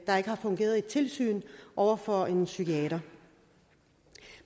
der ikke har fungeret et tilsyn over for en psykiater